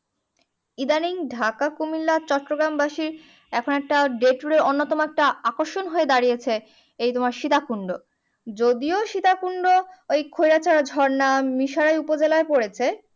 ইদানিং ঢাকা কুমুন্ডা চট্টগ্রাম বাসির এখন একটা day tour এ অন্য তম একটা আকর্ষণ হয়ে দাঁড়িয়েছে এই তোমার সীতাকুন্ড যদিও সীতাকুন্ড ওই খৈয়াছড়া ঝর্ণা মিশরে উপজেলায় পড়েছে